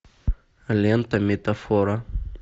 лента метафора